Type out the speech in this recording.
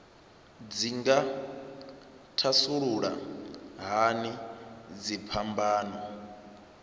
dzi nga thasulula hani dziphambano